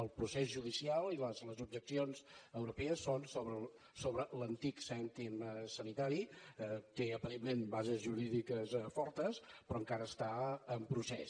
el procés judicial i les objeccions europees són sobre l’antic cèntim sanitari té aparentment bases jurídiques fortes però encara està en procés